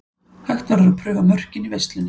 Hægt verður að prufa mörkin í versluninni.